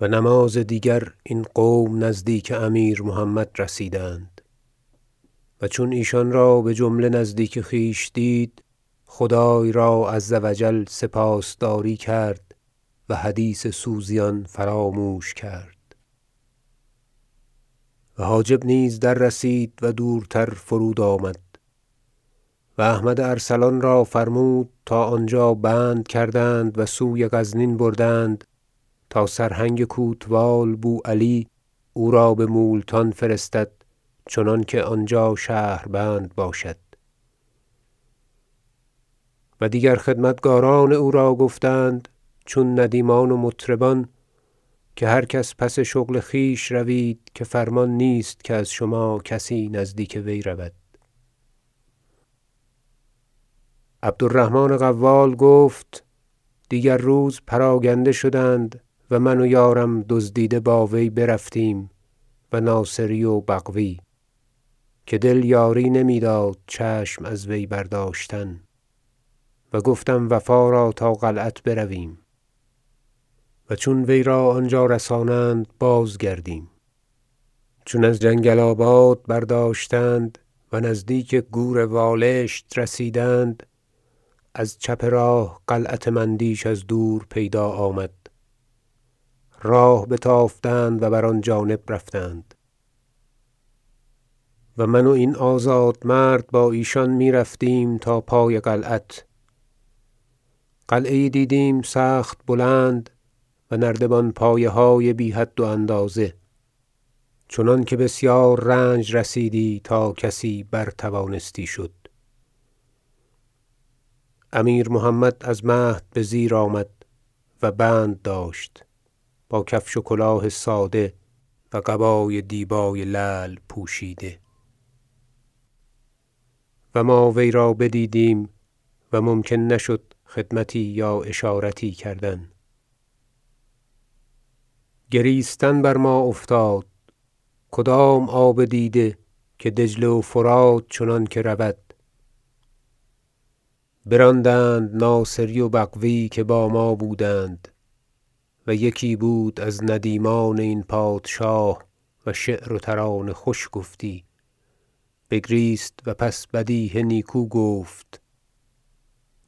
و نماز دیگر این قوم نزدیک امیر محمد رسیدند و چون ایشان را بجمله نزدیک خویش دید خدای را -عز و جل- سپاس داری کرد و حدیث سوزیان فراموش کرد و حاجب نیز دررسید و دورتر فرود آمد و احمد ارسلان را فرمود تا آنجا بند کردند و سوی غزنین بردند تا سرهنگ کوتوال بوعلی او را به مولتان فرستد چنانکه آنجا شهربند باشد و دیگر خدمتگاران او را گفتند چون ندیمان و مطربان که هر کس پس شغل خویش روید که فرمان نیست که از شما کسی نزدیک وی رود عبدالرحمن قوال گفت دیگر روز پراگنده شدند و من و یارم دزدیده با وی برفتیم و ناصری و بغوی که دل یاری نمیداد چشم از وی برداشتن و گفتم وفا را تا قلعت برویم و چون وی را آنجا رسانند بازگردیم چون از جنگل آباد برداشتند و نزدیک کور والشت رسیدند از چپ راه قلعت مندیش از دور پیدا آمد راه بتافتند و بر آن جانب رفتند و من و این آزادمرد با ایشان میرفتیم تا پای قلعت قلعه یی دیدیم سخت بلند و نردبان پایه های بی حد و اندازه چنانکه بسیار رنج رسیدی تا کسی بر توانستی شد امیر محمد از مهد به زیر آمد و بند داشت با کفش و کلاه ساده و قبای دیبای لعل پوشیده و ما وی را بدیدیم و ممکن نشد خدمتی یا اشارتی کردن گریستن بر ما افتاد کدام آب دیده که دجله و فرات چنانکه رود براندند ناصری و بغوی که با ما بودند و یکی بود از ندیمان این پادشاه و شعر و ترانه خوش گفتی بگریست و پس بدیهه نیکو گفت شعر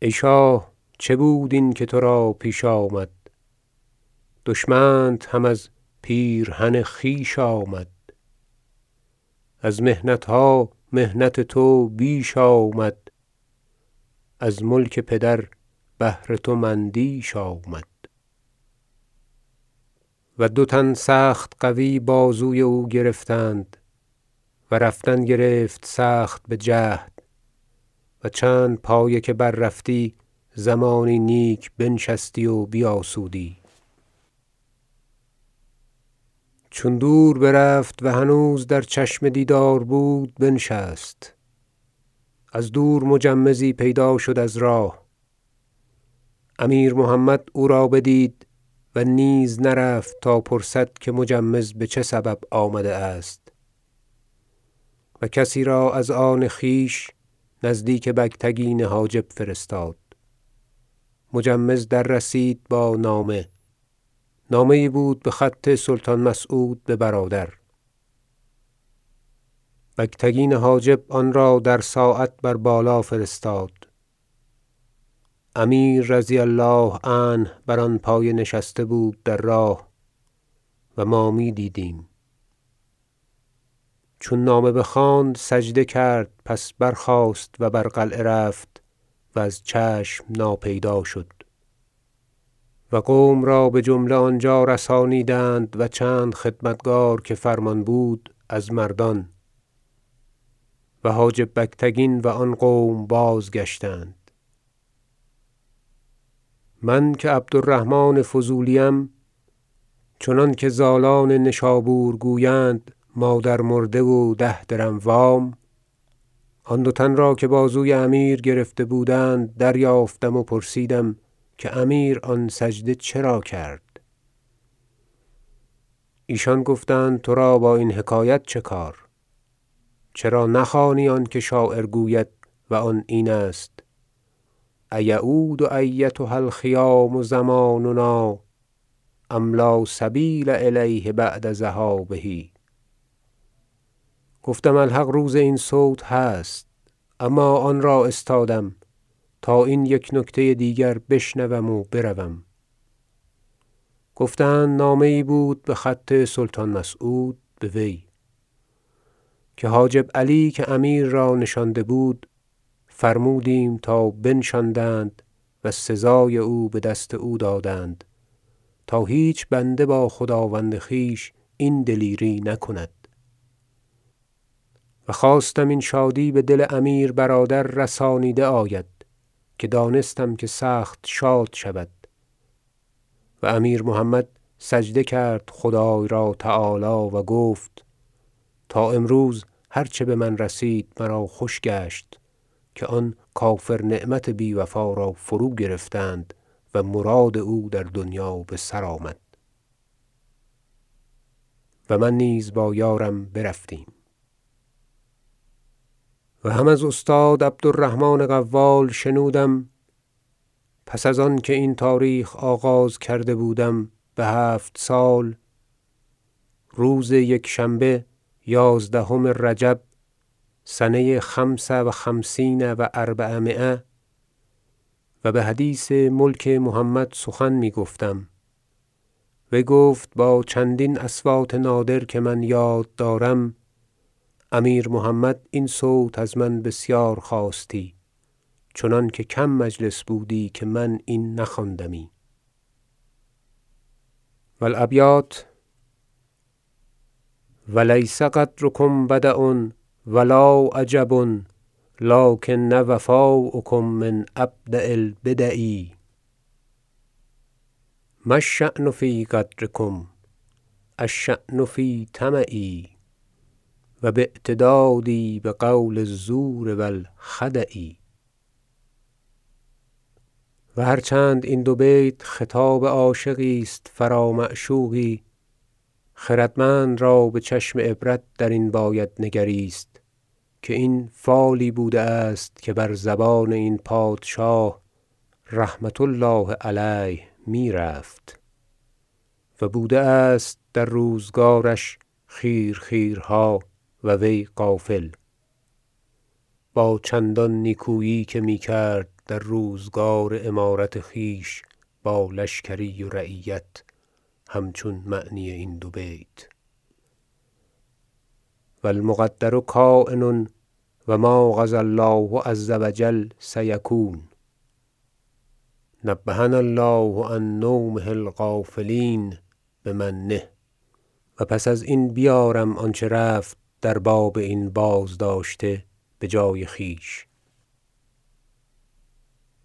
ای شاه چه بود این که ترا پیش آمد دشمنت هم از پیرهن خویش آمد از محنتها محنت تو بیش آمد از ملک پدر بهر تو مندیش آمد و دو تن سخت قوی بازوی او گرفتند و رفتن گرفت سخت بجهد و چند پایه که بررفتی زمانی نیک بنشستی و بیاسودی چون دور برفت و هنوز در چشم دیدار بود بنشست از دور مجمزی پیدا شد از راه امیر محمد او را بدید و نیز نرفت تا پرسد که مجمز به چه سبب آمده است و کسی را از آن خویش نزد بگتگین حاجب فرستاد مجمز دررسید با نامه نامه یی بود به خط سلطان مسعود به برادر بگتگین حاجب آنرا در ساعت بر بالا فرستاد امیر -رضی الله عنه- بر آن پایه نشسته بود در راه و ما میدیدیم چون نامه بخواند سجده کرد پس برخاست و بر قلعه رفت و از چشم ناپیدا شد و قوم را بجمله آنجا رسانیدند و چند خدمتگار که فرمان بود از مردان و حاجب بگتگین و آن قوم بازگشتند من که عبدالرحمن فضولی ام چنانکه زالان نشابور گویند مادرمرده و ده درم وام آن دو تن را که بازوی امیر گرفته بودند دریافتم و پرسیدم که امیر آن سجده چرا کرد ایشان گفتند ترا با این حکایت چکار چرا نخوانی آنکه شاعر گوید و آن این است شعر أ یعود أیتها الخیام زماننا أم لا سبیل إلیه بعد ذهابه گفتم الحق روز این صوت هست اما آن را استادم تا این یک نکته دیگر بشنوم و بروم گفتند نامه یی بود به خط سلطان مسعود به وی که علی حاجب که امیر را نشانده بود فرمودیم تا بنشاندند و سزای او به دست او دادند تا هیچ بنده با خداوند خویش این دلیری نکند و خواستم این شادی به دل امیر برادر رسانیده آید که دانستم که سخت شاد شود و امیر محمد سجده کرد خدای را -تعالی- و گفت تا امروز هر چه به من رسید مرا خوش گشت که آن کافرنعمت بی وفا را فروگرفتند و مراد او در دنیا به سر آمد و من نیز با یارم برفتیم و هم از استاد عبدالرحمن قوال شنودم پس از آنکه این تاریخ آغاز کرده بودم به هفت سال روز یکشنبه یازدهم رجب سنه خمس و خمسین و أربعمایه و به حدیث ملک محمد سخن میگفتم وی گفت با چندین اصوات نادر که من یاد دارم امیر محمد این صوت از من بسیار خواستی چنانکه کم مجلس بودی که من این نخواندمی و الابیات شعر و لیس غدرکم بدع و لا عجب لکن وفاءکم من أبدع البدع ما الشأن في غدرکم الشأن في طمعي و باعتدادي بقول الزور و الخدع و هرچند این دو بیت خطاب عاشقی است فرا معشوقی خردمند را به چشم عبرت درین باید نگریست که این فالی بوده است که بر زبان این پادشاه -رحمة الله علیه- میرفت و بوده است در روزگارش خیرخیرها و وی غافل با چندان نیکویی که میکرد در روزگار امارت خویش با لشکری و رعیت همچون معنی این دو بیت و المقدر کاین و ما قضی الله عز و جل سیکون نبهنا الله عن نومة الغافلین بمنه و پس ازین بیارم آنچه رفت در باب این بازداشته به جای خویش